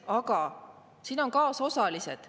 Aga siin on kaasosalised.